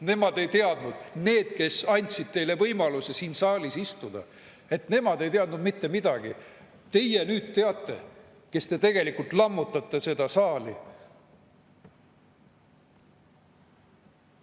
Need, kes andsid teile võimaluse siin saalis istuda, nemad ei teadnud mitte midagi, teie aga nüüd teate, kuigi te tegelikult lammutate seda saali.